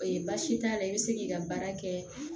Ee baasi t'a la i be se k'i ka baara kɛ